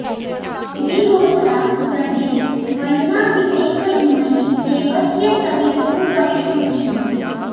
वि होत्रा दधे वयुनाविदेक इन्मही देवस्य सवितुः परिष्टुतिः